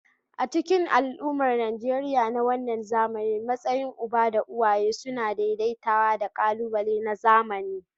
A cikin al'ummar Najeriya na wannan zamani, matsayin uba da uwaye suna daidaitawa da ƙalubale na zamani.